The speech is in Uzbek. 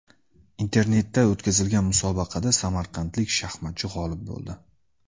Internetda o‘tkazilgan musobaqada samarqandlik shaxmatchi g‘olib bo‘ldi.